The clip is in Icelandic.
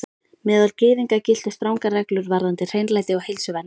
Meðal Gyðinga giltu strangar reglur varðandi hreinlæti og heilsuvernd.